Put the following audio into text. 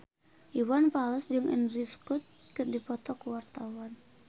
Iwan Fals jeung Andrew Scott keur dipoto ku wartawan